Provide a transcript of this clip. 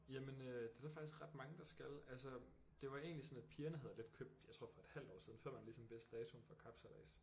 Jamen øh det er der faktisk ret mange der skal altså det var egentlig sådan at pigerne havde lidt købt jeg tror for et halvt år siden før man ligesom vidste datoen for kapsejlads